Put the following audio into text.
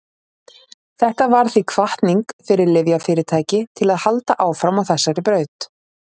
þetta varð því hvatning fyrir lyfjafyrirtæki til að halda áfram á þessari braut